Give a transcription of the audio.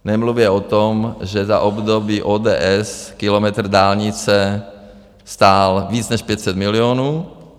Nemluvě o tom, že za období ODS kilometr dálnice stál více než 500 milionů.